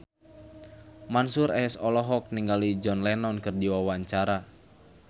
Mansyur S olohok ningali John Lennon keur diwawancara